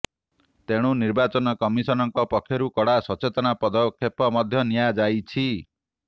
ତେଣୁ ନିର୍ବାଚନ କମିଶନଙ୍କ ପକ୍ଷରୁ କଡ଼ା ସଚେତନତା ପଦକ୍ଷେପ ମଧ୍ୟ ନିଆଯାଇଛି